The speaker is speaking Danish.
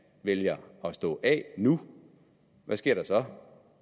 vælger at stå af nu hvad sker der så